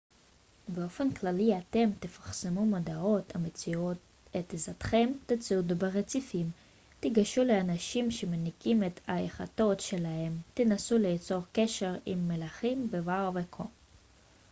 באופן כללי אתם תפרסמו מודעות המציעות את עזרתכם תצעדו ברציפים תיגשו לאנשים שמנקים את היאכטות שלהם תנסו ליצור קשר עם מלחים בבר וכו'